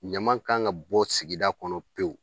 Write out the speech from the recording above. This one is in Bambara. Ɲama kan ka bɔ sigida kɔnɔ pewu.